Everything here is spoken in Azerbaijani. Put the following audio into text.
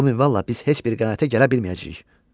Bu minvalla biz heç bir qənaətə gələ bilməyəcəyik.